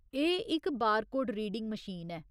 एह् इक barcode reading machine ऐ।